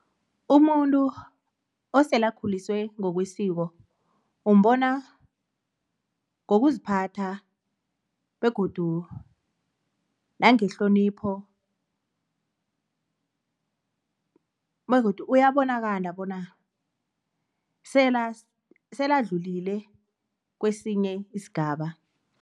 Umuntu osele akhuliswe ngokwesiko, umbona ngokuziphatha nangehlonipho begodu uyabonakala bona sele adlulile kwesinye isigaba.